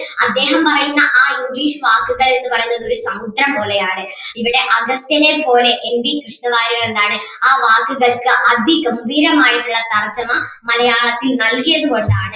അദ്ദേഹം പറയുന്ന ആ English വാക്കുകൾ എന്ന് പറയുന്നത് ഒരു സമുദ്രം പോലെ ആണ് ഇവിടെ അഗസ്ത്യനെ പോലെ എൻ വി കൃഷ്ണവാര്യർ എന്താണ് ആ വാക്കുകൾക്ക് അതിഗംഭീരമായിട്ടുള്ള തർജ്ജിമ മലയാളത്തിൽ നൽകിയത് കൊണ്ട് ആണ്